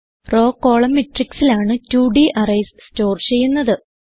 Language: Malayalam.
റോവ് കോളം മാട്രിക്സ് ലാണ് 2 ഡ് അറേയ്സ് സ്റ്റോർ ചെയ്യുന്നത്